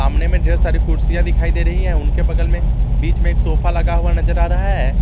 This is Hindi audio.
कमरे में ढेर सारे कुर्सियां दिखाई दे रही हैं उनके बगल में बीच में एक सोफा लगा हुआ नजर आ रहा है।